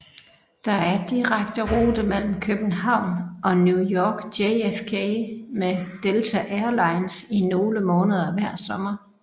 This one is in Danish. Der er direkte rute mellem København og New York JFK med Delta Airlines i nogle måneder hver sommer